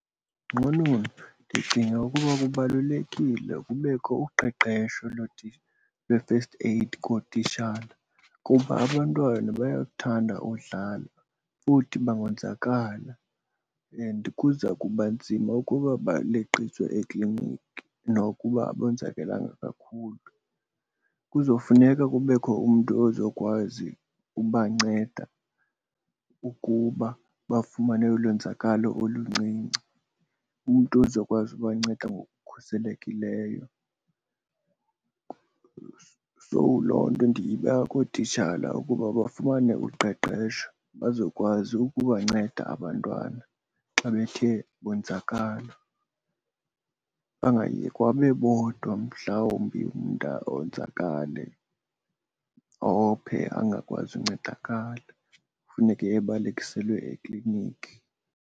Nqununu, ndicinga ukuba kubalulekile kubekho uqeqesho lwe-first aid kootitshala kuba abantwana bayakuthanda udlala futhi bangonzakala and kuza kuba nzima ukuba baleqiswe ekliniki nokuba abonzakelanga kakhulu. Kuzofuneka kubekho umntu ozokwazi ubanceda ukuba bafumane ulwenzakalo oluncinci, umntu ozokwazi ubanceda ngokukhuselekileyo. So loo nto ndiyibeka kootitshala ukuba bafumane uqeqesho bazokwazi ukubanceda abantwana xa bethe bonzakala, bangayekwa bebodwa mhlawumbi umntana onzakale ophe angakwazi uncedakala kufuneke abalekiselwe ekliniki.